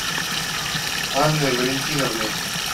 анной валентиновной